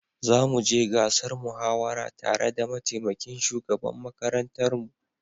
Zamu je gasar muhawarar tare da mataimakin shugaban makarantar mu.